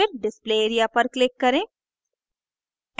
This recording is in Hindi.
फिर display area पर click करें